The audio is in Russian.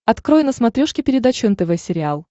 открой на смотрешке передачу нтв сериал